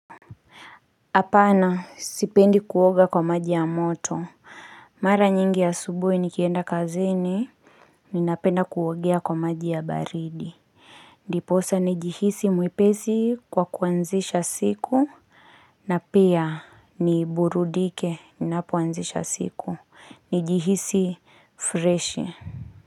Hapana sipendi kuoga kwa maji ya moto. Mara nyingi asubuhi nikienda kazini. Ninapenda kuogea kwa maji ya baridi. Ndiposa ni jihisi mwepesi kwa kuanzisha siku. Na pia ni burudike. Ninapuanzisha siku. Nijihisi freshi.